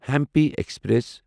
Hampi express